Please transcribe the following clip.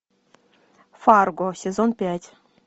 фарго сезон пять